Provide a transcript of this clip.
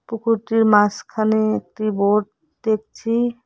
পুকুরটির মাঝখানে একটি বোট দেখছি।